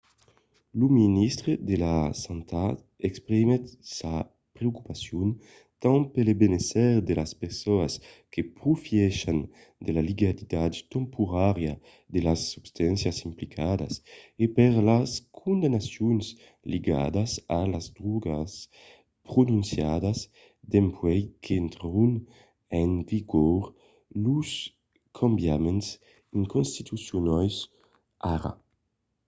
lo ministre de la santat exprimiguèt sa preocupacion tant pel benésser de las personas que profièchan de la legalitat temporària de las substàncias implicadas e per las condemnacions ligadas a las drògas prononciadas dempuèi qu'intrèron en vigor los cambiaments inconstitucionals ara